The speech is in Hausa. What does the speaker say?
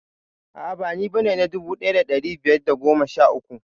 A'a ba ni bane na dubu ɗaya da ɗari biyar da goma sha uku